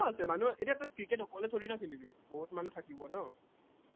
মানুহ আছে, এতিয়া তই ক্ৰিকেট অকলে থৰি না খেলিবি, বহুত মানুহ থাকিব ন